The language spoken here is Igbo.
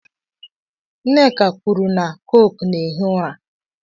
Nneka kwuru na Coke na-ehi ụra